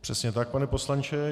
Přesně tak, pane poslanče.